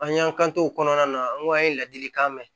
An y'an kan to o kɔnɔna na an ko an ye ladilikan mɛn